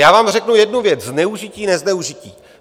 Já vám řeknu jednu věc - zneužití, nezneužití.